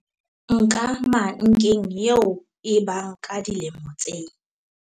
Nkamankeng eo e bang ka dilemo tse